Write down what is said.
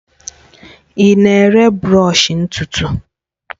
Ị na-ere brọsh ntutu?